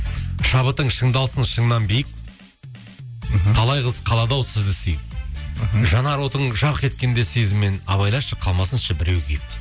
шабытың шыңдалсын шыңнан биік мхм талай қыз қалады ау сізді сүйіп мхм жанар отың жарқ еткенде сезіммен абайлашы қалмасыншы біреу күйіп